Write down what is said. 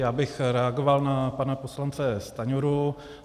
Já bych reagoval na pana poslance Stanjuru.